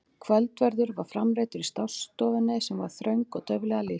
Kvöldverður var framreiddur í stássstofunni sem var þröng og dauflega lýst.